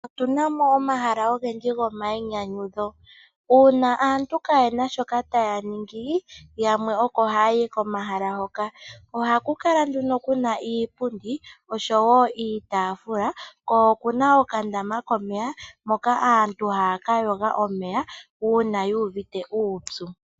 Otu na mo omahala ogendji gomayinyanyudho. Uuna aantu kaye na shoka taya ningi yamwe oko haya yi komahala hoka. Ohaku kala nduno ku na iipundi noshowo iitaafula ko oku na okandama komeya moka aantu haya ka yoga omeya uuna yu uvite uupyu.